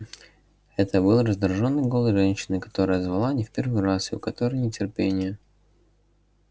это был раздражённый голос женщины которая звала не в первый раз и у которой нетерпение